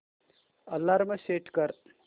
alarm set कर